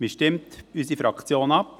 Wie stimmt unsere Fraktion ab?